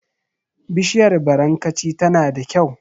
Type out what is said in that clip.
Bishiyar barankaci tana da kyau.